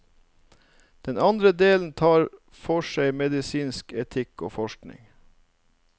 Den andre delen tar for seg medisinsk etikk og forskning.